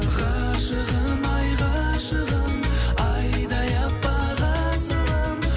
ғашығым ай ғашығым айдай аппақ асылым